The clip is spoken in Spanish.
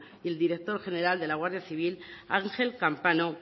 y el director general de la guardia civil ángel campano